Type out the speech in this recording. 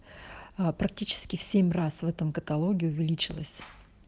а практически в семь раз в этом каталоге увеличилась